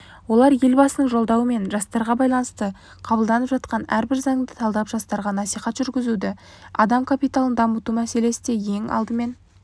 олар елбасының жолдауы мен жастарға байланысты қабылданып жатқан әрбір заңды талдап жастарға насихат жүргізеді адам капиталын дамыту мәселесі де ең алдымен